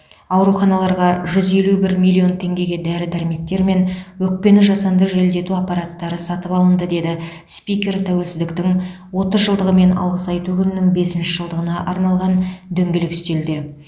ауруханаларға жүз елу бір миллион теңгеге дәрі дәрмектер мен өкпені жасанды желдету аппараттары сатып алынды деді спикер тәуелсіздіктің отыз жылдығы мен алғыс айту күнінің бесінші жылдығына арналған дөңгелек үстелде